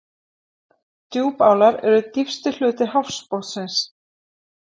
Djúpálar eru dýpsti hluti hafsbotnsins.